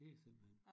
Det er simpelthen